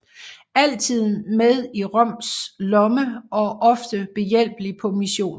Altid med i Rons lomme og ofte behjælpelig på missioner